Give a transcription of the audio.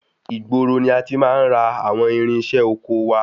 Ìgboro ni a ti máa ń ra àwọn irinṣẹ́ ọkọ wá.